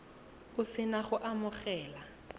o se na go amogela